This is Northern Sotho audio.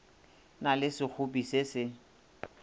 na le sekgopi se se